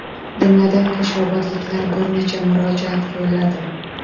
Jumladan, qo‘shrabotliklar bir necha murojaat yo‘lladi.